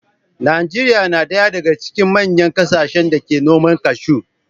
Najeriya na ɗaya daga cikin manyan kasashen da ke noman cashew.